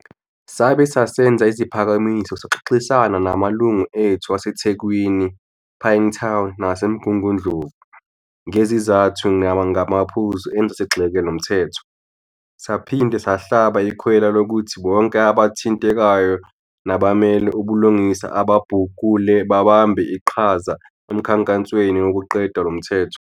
Sabe sesenza iziphakamiso saxoxisana namalungu ethu ase Thekwini, Pinetown nase Mgungundlovu, ngezizathu nangamaphuzu enza sigxeke lomthetho. Saphinda sahlaba ikhwela lokuthi bonke abathintekayo nabamele ubulungiswa ababhukule babambe iqhaza emkhankasweni wokuqeda lomthetho.